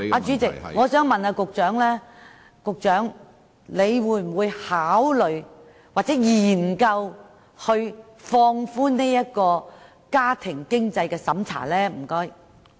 主席，我想問局長會否考慮或研究放寬家庭經濟審查？